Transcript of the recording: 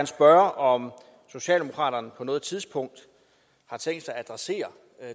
spørge om socialdemokraterne på noget tidspunkt har tænkt sig at adressere